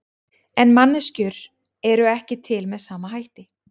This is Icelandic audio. En manneskjur eru ekki til með sama hætti.